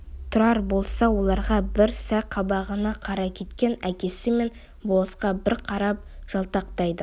тұрар болса оларға бір сай қабағына қарай кеткен әкесі мен болысқа бір қарап жалтақтайды